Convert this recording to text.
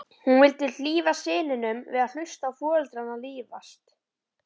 Hún vildi hlífa syninum við að hlusta á foreldrana rífast.